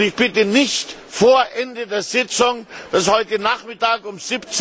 Ich bitte, nicht vor Ende der Sitzung das ist heute Nachmittag um